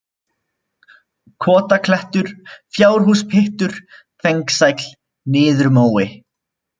Kotaklettur, Fjárhúspyttur, Fengsæll, Niðurmói